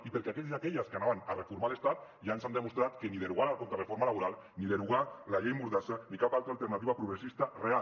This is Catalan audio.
i perquè aquells i aquelles que anaven a reformar l’estat ja ens han demostrat que ni derogar la contrareforma laboral ni derogar la llei mordassa ni cap altra alternativa progressista real